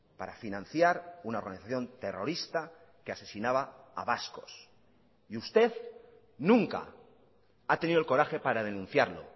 para financiar una organización terrorista que asesinaba a vascos y usted nunca ha tenido el coraje para denunciarlo